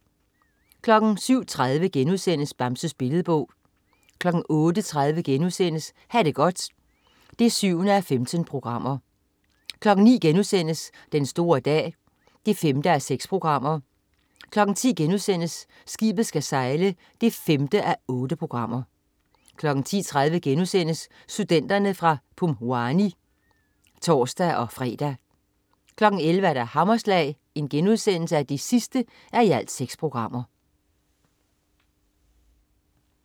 07.30 Bamses Billedbog* 08.30 Ha' det godt 7:15* 09.00 Den store dag 5:6* 10.00 Skibet skal sejle 5:8* 10.30 Studenterne fra Pumwani* (tors-fre) 11.00 Hammerslag 6:6*